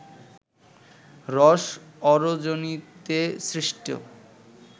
রস অরোজেনিতে সৃষ্ট